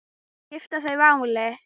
Skipta þau máli?